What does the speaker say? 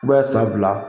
I b'a ye san fila